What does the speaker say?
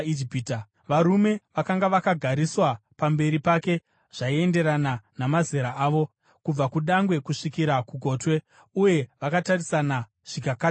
Varume vakanga vakagariswa pamberi pake zvaienderana namazera avo, kubva kudangwe kusvikira kugotwe; uye vakatarisana zvikavakatyamadza.